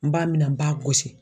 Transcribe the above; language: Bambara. N b'a mina n b'a gosi.